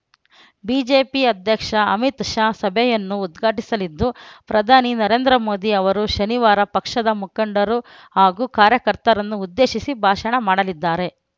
BJP ಅಧ್ಯಕ್ಷ ಅಮಿತ್‌ ಶಾ ಸಭೆಯನ್ನು ಉದ್ಘಾಟಿಸಲಿದ್ದು ಪ್ರಧಾನಿ ನರೇಂದ್ರ ಮೋದಿ ಅವರು ಶನಿವಾರ ಪಕ್ಷದ ಮುಖಂಡರು ಹಾಗೂ ಕಾರ್ಯಕರ್ತರನ್ನು ಉದ್ದೇಶಿಸಿ ಭಾಷಣ ಮಾಡಲಿದ್ದಾರೆ